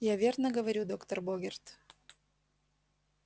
я верно говорю доктор богерт